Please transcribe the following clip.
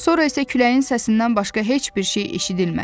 Sonra isə küləyin səsindən başqa heç bir şey eşidilmədi.